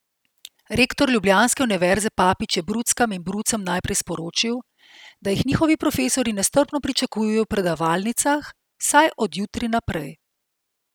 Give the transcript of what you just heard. Rektor ljubljanske univerze Papič je bruckam in brucem najprej sporočil, da jih njihovi profesorji nestrpno pričakujejo v predavalnicah, vsaj od jutri naprej.